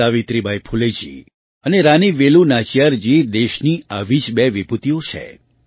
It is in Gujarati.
સાવિત્રીબાઈ ફૂલેજી અને રાની વેલુ નાચિયારજી દેશની આવી જ બે વિભૂતિઓ છે